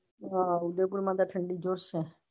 હા ઉદયપુર માં તો ઠંડી જ છે.